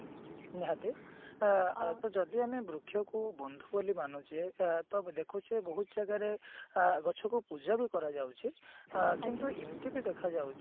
ନିହାତି ଅ ଯଦି ଆମେ ବୃକ୍ଷକୁ ବନ୍ଧୁ ବୋଲି ମାନୁଛେ ତ ଆମେ ଦେଖୁଛେ ବହୁତ ଜାଗାରେ ଅ ଗଛକୁ ପୂଜାବି କରାଯାଉଛି ଅ କିନ୍ତୁ ଏମତି ବି ଦେଖା ଯାଉଛି